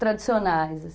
tradicionais.